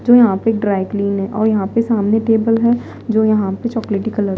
जो यहां पे एक ड्राई क्लीन है और यहां पे सामने टेबल है जो यहां पे चॉकलेटी कलर --